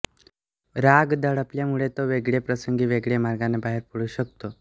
राग दडपल्यामुळे तो वेगळ्या प्रसंगी वेगळ्या मार्गाने बाहेर पडू शकतो